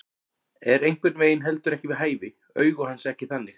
Er einhvern veginn heldur ekki við hæfi, augu hans ekki þannig.